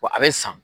Wa a bɛ san